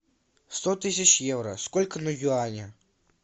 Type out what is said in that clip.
сто тысяч евро сколько на юани